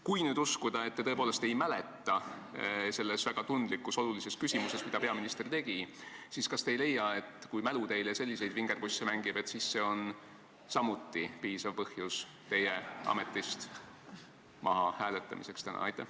Kui nüüd uskuda, et te tõepoolest ei mäleta, mida peaminister selles väga tundlikus ja olulises küsimuses tegi, siis kas te ei leia, et kui mälu teile selliseid vingerpusse mängib, siis see on samuti piisav põhjus teid täna ametist maha hääletada?